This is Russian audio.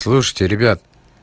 слушайте ребята